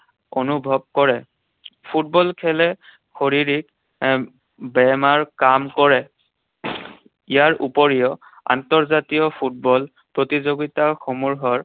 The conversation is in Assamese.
অনুভৱ কৰে। ফুটবল খেলে শৰীৰিক বেমাৰ কাম কৰে। ইয়াৰ উপৰিও আন্তৰ্জাতীয় ফুটবল প্ৰতিযোগিতাসমূহৰ